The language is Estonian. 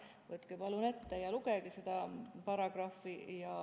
Võtke palun ette ja lugege seda paragrahvi.